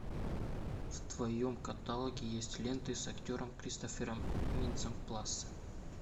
в твоем каталоге есть ленты с актером кристофером минцем плассе